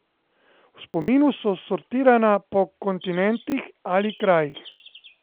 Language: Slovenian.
V spominu so sortirana po kontinentih ali krajih.